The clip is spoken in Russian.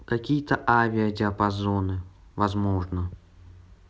какие-то авиадиапазоны возможно